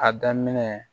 A daminɛ